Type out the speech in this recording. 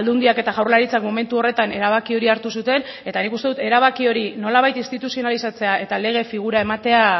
aldundiak eta jaurlaritzak momentu horretan erabaki hori hartu zuten eta nik uste dut erabaki hori nolabait instituzionalizatzea eta lege figura ematea